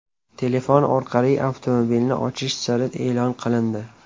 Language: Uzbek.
Telefon orqali avtomobilni ochish siri e’lon qilindi.